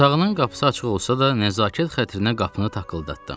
Otağının qapısı açıq olsa da, nəzakət xatirinə qapını takıldatdım.